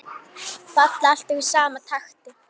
Falla alltaf í sama takti.